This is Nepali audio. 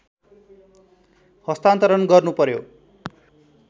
हस्तान्तरण गर्नु पर्‍यो